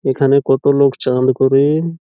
এখানে কত লোক চা আন করে-এ-ন।